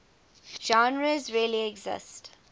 genres really exist